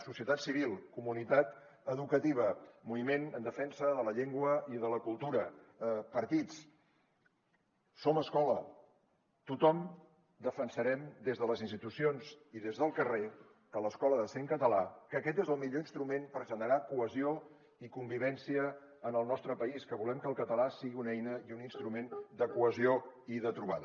societat civil comunitat educativa moviment en defensa de la llengua i de la cultura partits som escola tothom defensarem des de les institucions i des del carrer que l’escola ha de ser en català que aquest és el millor instrument per generar cohesió i convivència en el nostre país que volem que el català sigui una eina i un instrument de cohesió i de trobada